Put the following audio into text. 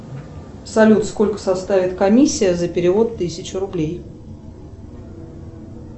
салют сколько составит комиссия за перевод тысячи рублей